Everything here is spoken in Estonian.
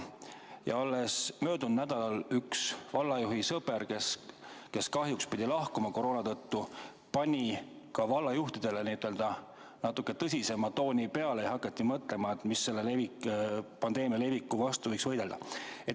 Alles möödunud nädalal pani üks vallajuhi sõber, kes kahjuks pidi koroona tõttu lahkuma, ka vallajuhtidele natuke tõsisema tooni peale ja hakati mõtlema, kuidas selle pandeemia leviku vastu võiks võidelda.